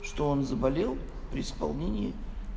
что он заболел при исполнении